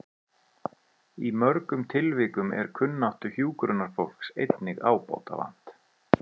Í mörgum tilvikum er kunnáttu hjúkrunarfólks einnig ábótavant.